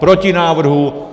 Proti návrhu.